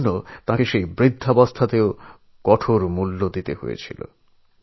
আর এর জন্য বার্ধক্যে এসেও তাঁকে অনেক মূল্য দিতে হয়েছিল